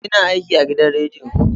ina aiki agidan rediyo